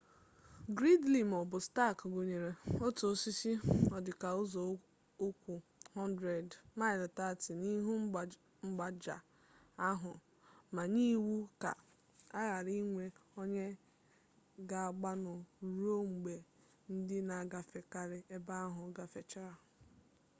gridley ma ọ bụ stark gwunyere otu osisi ọdịka ụzọukwu 100 m 30 n’ihu mgbaaja ahụ ma nye iwu ka a ghara inwe onye ga-agbanụ ruo mgbe ndị na-agafekarị ebe ahụ gafechara ya